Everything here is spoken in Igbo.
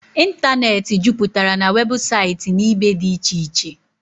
ịntanetị juputara na weebụsaịtị na ibe dị iche iche